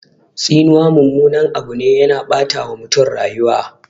Tsinuwa mummunan Abu ne, yana ɓata wa mutum rayuwa